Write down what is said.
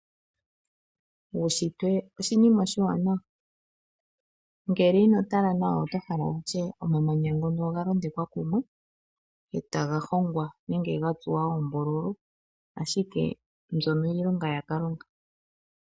Uushitwe oshinima oshiwanawa ngele inotala nawa oto hala wutye oamamanya ngono oga londekwa kumwe etaga hongwa nege ga tsuwa oombululu, ashike mbyono iilonga yakalunga.